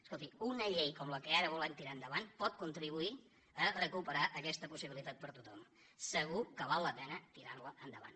escolti una llei com la que ara volem tirar endavant pot contribuir a recuperar aquesta possibilitat per a tothom segur que val la pena tirar la endavant